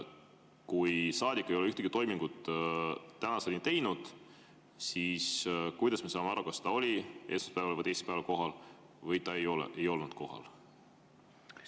Kui saadik ei ole tänaseni ühtegi toimingut teinud, siis kuidas me saame aru, kas ta oli esmaspäeval või teisipäeval kohal või ta ei olnud kohal?